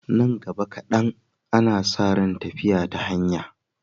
Nan gaba kaɗan, ana sa ran tafiya ta hanya.